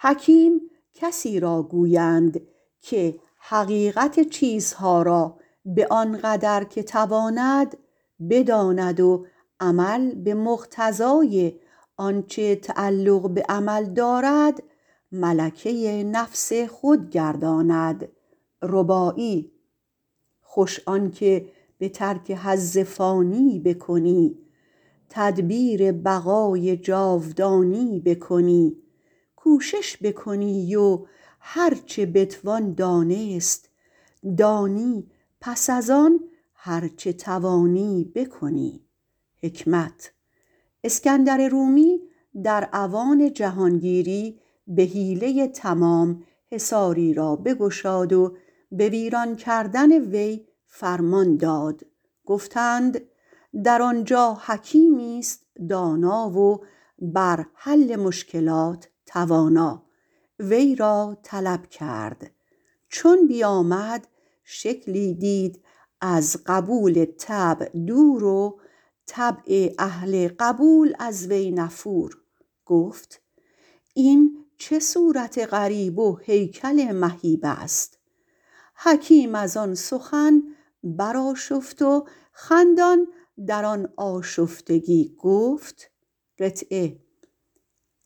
حکیم کسی را گویند که حقیقت چیزها را به آن قدر که تواند بداند و عمل به مقتضای آنچه تعلق به عمل دارد ملکه نفس خود گرداند خوش آنکه به ترک حظ فانی بکنی تدبیر بقای جاودانی بکنی کوشش بکنی و هر چه بتوان دانست دانی پس ازان هر چه بدانی بکنی اسکندر رومی در اوان جهانگیری به حیله تمام حصاری را بگشاد و به ویران کردن آن فرمان داد گفتند در آنجا حکیمی است دانا و بر حل مشکلات حکمت توانا وی را طلب داشت چون بیامد شکلی دید از قبول طبع دور و طبع اهل قبول از وی نفور گفت این چه صورت غریب و هیکل مهیب است حکیم از آن سخن برآشفت و خندان خندان در آن آشفتگی گفت